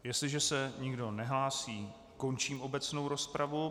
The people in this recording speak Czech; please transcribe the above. Jestliže se nikdo nehlásí, končím obecnou rozpravu.